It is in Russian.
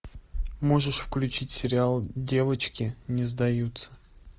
можешь включить сериал девочки не сдаются